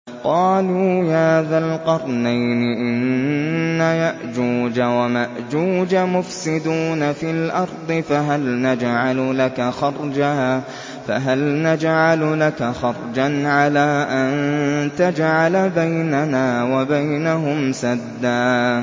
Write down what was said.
قَالُوا يَا ذَا الْقَرْنَيْنِ إِنَّ يَأْجُوجَ وَمَأْجُوجَ مُفْسِدُونَ فِي الْأَرْضِ فَهَلْ نَجْعَلُ لَكَ خَرْجًا عَلَىٰ أَن تَجْعَلَ بَيْنَنَا وَبَيْنَهُمْ سَدًّا